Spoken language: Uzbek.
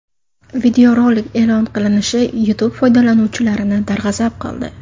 Videorolik e’lon qilishinishi YouTube foydalanuvchilarini darg‘azab qildi.